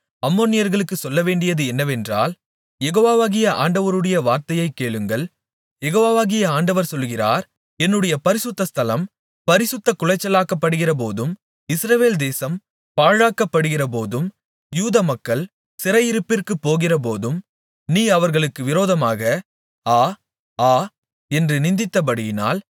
அம்மோனியர்களுக்கு சொல்லவேண்டியது என்னவென்றால் யெகோவாகிய ஆண்டவருடைய வார்த்தையைக் கேளுங்கள் யெகோவாகிய ஆண்டவர் சொல்லுகிறார் என்னுடைய பரிசுத்த ஸ்தலம் பரிசுத்தக்குலைச்சலாக்கப்படுகிறபோதும் இஸ்ரவேல் தேசம் பாழாக்கப்படுகிறபோதும் யூதமக்கள் சிறையிருப்பிற்கு போகிறபோதும் நீ அவர்களுக்கு விரோதமாக ஆ ஆ என்று நிந்தித்தபடியினால்